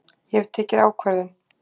Ég hef tekið ákvörðun!